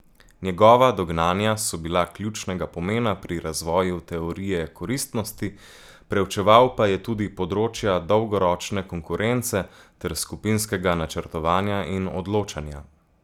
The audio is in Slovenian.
Njegova dognanja so bila ključnega pomena pri razvoju teorije koristnosti, preučeval pa je tudi področja dolgoročne konkurence ter skupinskega načrtovanja in odločanja.